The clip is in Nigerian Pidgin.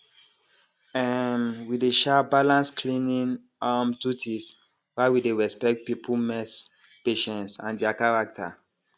um we dey um balance cleaning um duties while we dey respect people mess patience and dia character